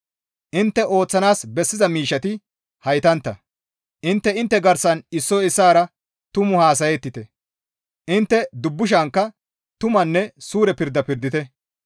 Intte ooththanaas bessiza miishshati haytantta; intte intte garsan issoy issaara tumu haasayettite; intte dubbushankka tumanne suure pirda pirdite.